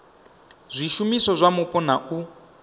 zwishumiswa zwa mupo na u